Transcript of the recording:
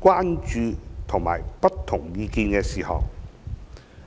關注及有不同意見的事項。